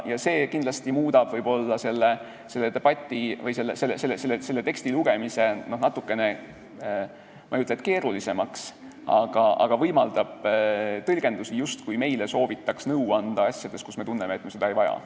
Ma ei ütleks, et see muudab selle teksti lugemise keerulisemaks, vaid ütlen, et see võimaldab tõlgendusi, justkui meile soovitaks nõu anda asjades, mille kohta me oma tunde põhjal nõu ei vaja.